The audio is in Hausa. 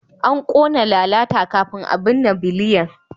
An kona lalata kafin a binne Biliyan.